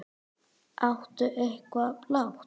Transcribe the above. Áttu eitthvað blátt?